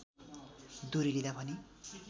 दुरी लिँदा भने